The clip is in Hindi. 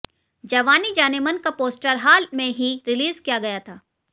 जवानी जानेमन का पोस्टर हाल में ही रिलीज किया गया था